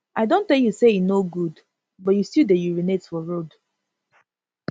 i don tell you say e no good but you still dey urinate for road